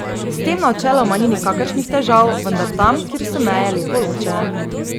S tem načeloma ni nikakršnih težav, vendar tam, kjer so meje lepo ločene.